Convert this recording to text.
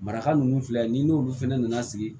Maraka ninnu filɛ ni n'olu fɛnɛ nana sigi